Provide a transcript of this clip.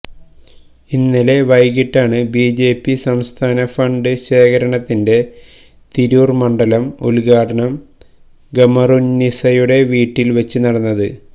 ഇന്നലെ വൈകിട്ടാണ് ബിജെപി സംസ്ഥാന ഫണ്ട് ശേഖരണത്തിന്റെ തിരൂർ മണ്ഡലം ഉദ്ഘാടനം ഖമറുന്നിസയുടെ വീട്ടിൽ വച്ച് നടന്നത്